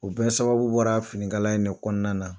U bɛɛ sababu bɔra finikala in de kɔnɔna na.